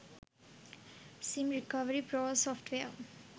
sim recovery pro software